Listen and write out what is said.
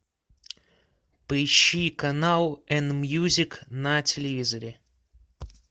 поищи канал эн мьюзик на телевизоре